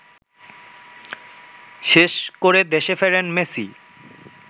শেষ করে দেশে ফেরেন মেসি